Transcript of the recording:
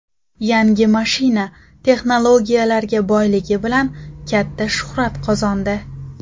Yangi mashina texnologiyalarga boyligi bilan katta shuhrat qozondi.